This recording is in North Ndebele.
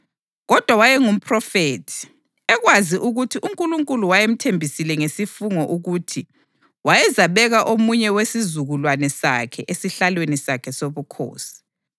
Kodwa wayengumphrofethi, ekwazi ukuthi uNkulunkulu wayemthembisile ngesifungo ukuthi wayezabeka omunye wesizukulwane sakhe esihlalweni sakhe sobukhosi.